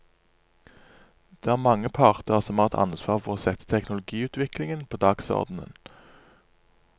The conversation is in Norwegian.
Det er mange parter som har et ansvar for å sette teknologiutviklingen på dagsordenen.